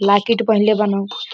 Locket पहीनले बान।